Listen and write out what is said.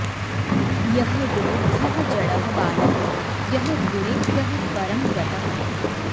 यः विमुग्धः जडः बालः यः गुणेभ्यः परं गतः